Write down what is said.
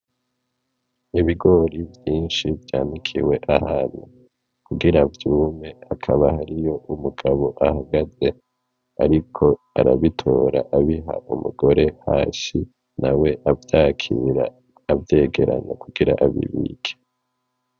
Ibigori vyinshi vyanikiwe ahantu kugira vyume ,hakaba hariyo umugabo ahagaze ,ariko arabitora abiha umugore hasi nawe avyakira ,avyegeranya kugira abibike.